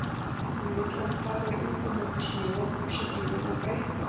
Hún vill að hann fari út að moka snjó eða pússa bílinn eða bara eitthvað.